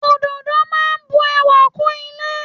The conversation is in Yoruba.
Ododo máa bu ẹwà kún ilé.